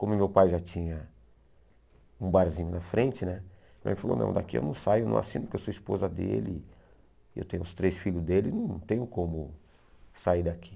Como meu pai já tinha um barzinho na frente né, ele falou, não, daqui eu não saio, não assino, porque eu sou esposa dele, eu tenho os três filhos dele, não tenho como sair daqui.